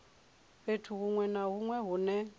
fhethu hunwe na hunwe hune